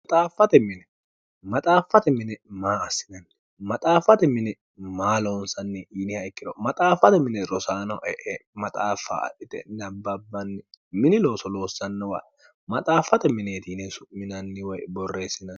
maxaaffate mini maa assinanni maxaaffate mini maa loonsanni yiniha ikkiro maxaaffate mine rosaanoe e maxaaffa adhite nabbabbanni mini looso loossanno wae maxaaffate mineeti yine su'minanni woy borreessinono